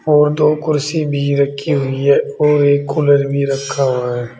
और दो कुर्सी भी रखी हुई है और एक कूलर भी रखा हुआ है।